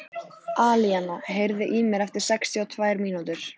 Alíana, heyrðu í mér eftir sextíu og tvær mínútur.